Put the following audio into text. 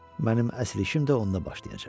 Mənim əsl işim də onda başlayacaq.